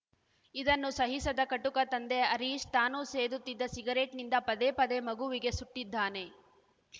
ಇದನ್ನು ಸಹಿಸದ ಕಟುಕ ತಂದೆ ಹರೀಶ್‌ ತಾನು ಸೇದುತ್ತಿದ್ದ ಸಿಗರೇಟ್‌ನಿಂದ ಪದೇ ಪದೇ ಮಗುವಿಗೆ ಸುಟ್ಟಿದ್ದಾನೆ